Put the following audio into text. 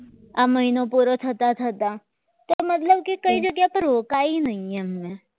આ મહિના પૂરો થતા થતા તેનો મતલબ કે કોઈ એક જગ્યા પર રોકાય નહીં મે એમ